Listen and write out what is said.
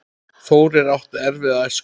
Þórir átti erfiða æsku.